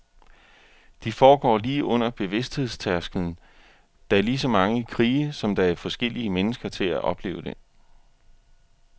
De foregår lige under bevidsthedstærsklen, der er ligeså mange krige, som der er forskellige mennesker til at opleve den.